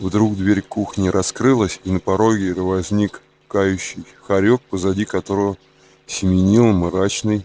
вдруг дверь кухни раскрылась и на пороге возник кающий хорёк позади которого семенил мрачный